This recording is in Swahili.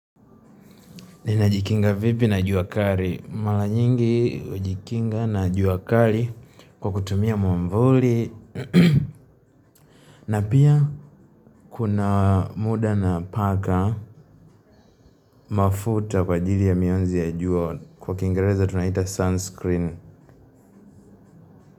Nina. Jikinga vipi na juwa kali? Mara nyingi hujikinga na juwa kali. Kwa kutumia mwamvuli. Na pia kuna muda na mpaka mafuta kwa ajili ya mianzi ya juwa. Kwa kiingereza tunaita sunisikirini.